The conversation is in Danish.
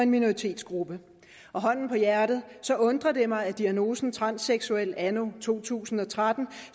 minoritetsgruppe og hånden på hjertet undrer det mig at diagnosen transseksuel anno to tusind og tretten